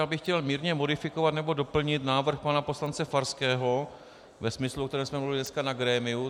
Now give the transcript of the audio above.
Já bych chtěl mírně modifikovat nebo doplnit návrh pana poslance Farského ve smyslu, o kterém jsme mluvili dneska na grémiu.